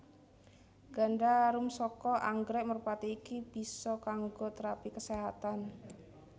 Ganda arum saka anggrèk merpati iki bisa kanggo térapi kaséhatan